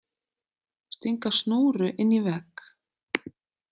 Stinga snúru inn í vegg!